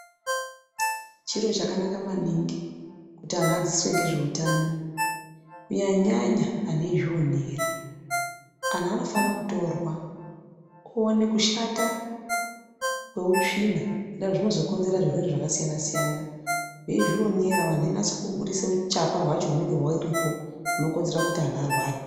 Chiro chakanaka maningi kuti antu adzidziswe nezveutano kunyanya nyanya angu eizvionera. Antu anofana kutorwa owone kushata kweutsvina ngenda yekuti zvinozokonzera zvirwere zvakasiyana, veizvionera vanhu veinasa kubudisa huchapa hwacho hunenge huripo hunokonzera kuti anhu arware.